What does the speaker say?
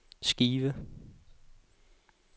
skive